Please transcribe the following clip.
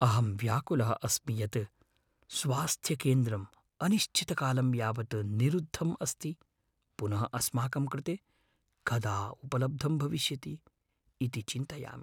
अहं व्याकुलः अस्मि यत् स्वास्थ्यकेन्द्रम् अनिश्चितकालं यावत् निरुद्धम् अस्ति, पुनः अस्माकं कृते कदा उपलब्धं भविष्यति इति चिन्तयामि।